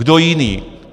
Kdo jiný?